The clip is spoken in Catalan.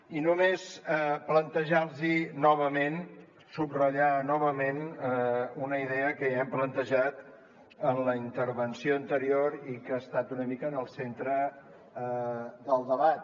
i només plantejar los novament subratllar novament una idea que ja hem plantejat en la intervenció anterior i que ha estat una mica en el centre del debat